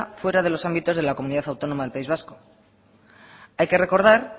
fuera de los ámbitos de la comunidad autónoma del país vasco hay que recordar